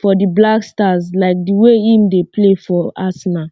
for um di blackstars like di way im dey play for um arsenal